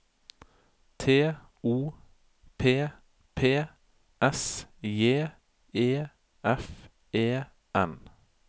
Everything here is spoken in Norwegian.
T O P P S J E F E N